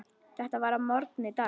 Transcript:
Þetta var að morgni dags.